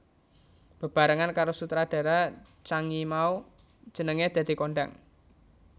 Bebarengan karo sutradara Zhang Yimou jenengé dadi kondhang